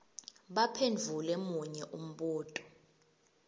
baphendvule munye umbuto